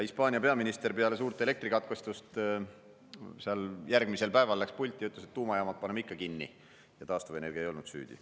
Hispaania peaminister peale suurt elektrikatkestust seal järgmisel päeval läks pulti ja ütles, et tuumajaamad paneme ikka kinni ja taastuvenergia ei olnud süüdi.